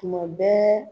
Tuma bɛɛ